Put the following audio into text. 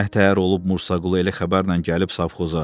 Nətər olub Mursaqulu elə xəbərlə gəlib Savxoza?